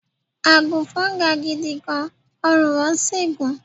Àgùnfọn ga gidi gan-an, ọrùn wọn sì gùn.